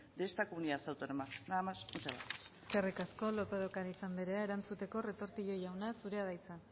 de esta comunidad autónoma nada más muchas gracias eskerrik asko lópez de ocariz andrea erantzuteko retortillo jauna zurea da hitza